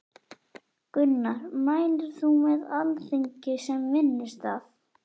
Gunnar: Mælir þú með Alþingi sem vinnustað?